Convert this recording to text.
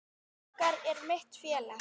Haukar eru mitt félag.